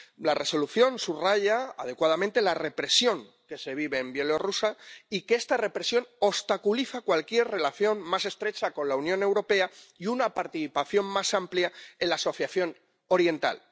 La Resolución subraya adecuadamente la represión que se vive en Bielorrusia y que esta represión obstaculiza cualquier relación más estrecha con la Unión Europea y una participación más amplia en la Asociación Oriental.